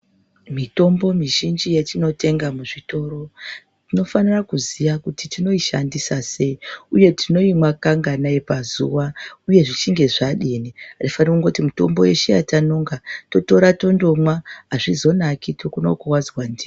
Mitombo mizhinji yetinotenga muzvitoro tinofanira kuziya kuti tinoishandisa sei, uye tinoimwa kanganai pazuva uye zvichinge zvadini. Hatifaniri kungoti mutombo yeshe yatanonga totora tondomwa hazvizonaki tokona kukuvadzwa ndiyo.